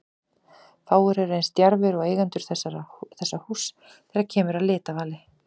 Fáir eru eins djarfir og eigendur þessa húss þegar kemur að litavali.